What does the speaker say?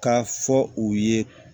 Ka fɔ u ye